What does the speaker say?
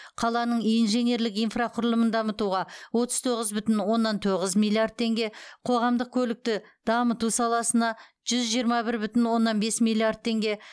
қаланың инженерлік инфрақұрылымын дамытуға отыз тоғыз бүтін оннан тоғыз миллиард теңге қоғамдық көлікті дамыту саласына жүз жиырма бір бүтін оннан бес миллиард теңге